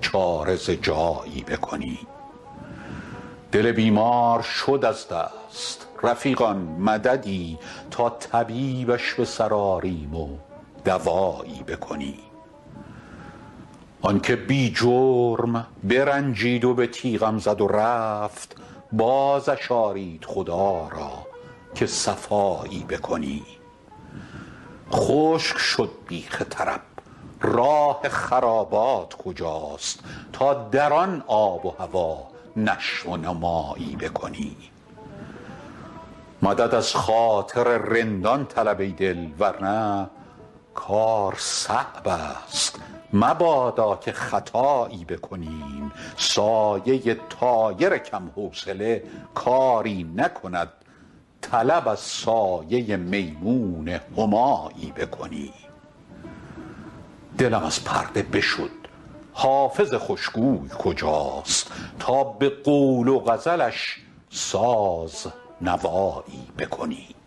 چاره ز جایی بکنیم دل بیمار شد از دست رفیقان مددی تا طبیبش به سر آریم و دوایی بکنیم آن که بی جرم برنجید و به تیغم زد و رفت بازش آرید خدا را که صفایی بکنیم خشک شد بیخ طرب راه خرابات کجاست تا در آن آب و هوا نشو و نمایی بکنیم مدد از خاطر رندان طلب ای دل ور نه کار صعب است مبادا که خطایی بکنیم سایه طایر کم حوصله کاری نکند طلب از سایه میمون همایی بکنیم دلم از پرده بشد حافظ خوش گوی کجاست تا به قول و غزلش ساز نوایی بکنیم